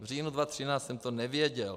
V říjnu 2013 jsem to nevěděl.